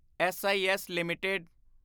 S I S LTD